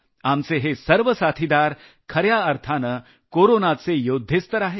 आपले हे सर्व साथीदार खऱ्या अर्थानं कोरोनाचे योद्धेच तर आहेत